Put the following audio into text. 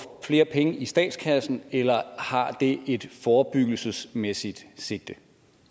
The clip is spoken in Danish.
flere penge i statskassen eller har det et forebyggelsesmæssigt sigte